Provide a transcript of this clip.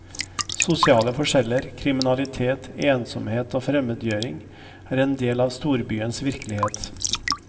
Sosiale forskjeller, kriminalitet, ensomhet og fremmedgjøring er en del av storbyens virkelighet.